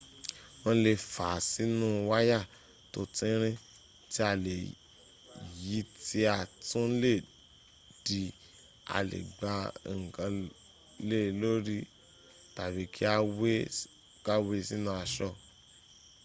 wọ́n lè fàá sínu wáyà tó tínrín tí a lè yí tí a tún lè dì a lè gbá ǹkan le lórí tàbí kí a we sínu aṣọ